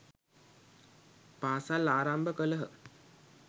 පාසල් ආරම්භ කළහ.